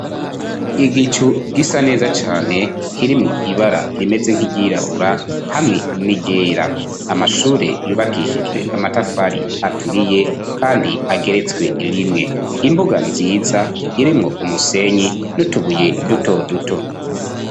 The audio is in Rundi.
Igicu gisa neza cane kirimwo ibara rimeze nk'iryirabura hamwe n'iryera amashure yubakishijwe amatafari aturiye kandi ageretswe rimwe imbuga nziza irimwo umusenyi nutubuye duto duto.